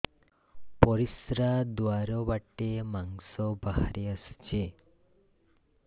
ପରିଶ୍ରା ଦ୍ୱାର ବାଟେ ମାଂସ ବାହାରି ଆସୁଛି